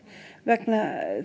vegna